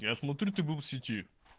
я смотрю ты был в сети